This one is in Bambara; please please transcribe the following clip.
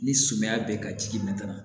Ni sumaya bɛ ka ji